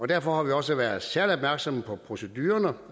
derfor har vi også været særlig opmærksomme på procedurerne